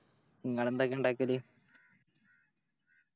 ഇങ്ങളെന്തൊക്കെയാ ഇണ്ടാക്കല്